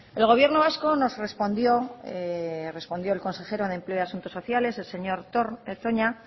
el gobierno vasco nos respondió respondió el consejero de empleo y asuntos sociales el señor toña